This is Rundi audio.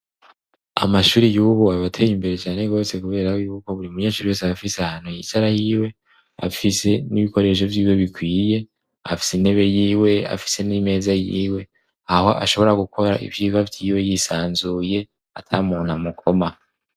Amashuri yubu abateye imbere cane rwose kubera yuko buri munyeshuri wese afise ahantu yicara hiwe, afise n'ibikoresho vyiwe bikwiye, afise intebe yiwe, afise n'imeza yiwe, aho ashobora gukora ivyigwa vyiwe yisanzuye, atamuntu amukoma.